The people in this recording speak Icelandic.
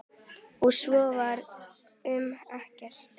Og svo var um okkur.